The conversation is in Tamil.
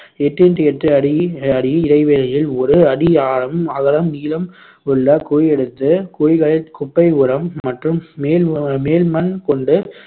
எட்டு into எட்டு அடி அடி இடைவெளியில் ஒரு அடி ஆழம், அகலம், நீளம் உள்ள குழி எடுத்து குழிகளில் குப்பை உரம் மற்றும் மேல் மேல் மண் கொண்டு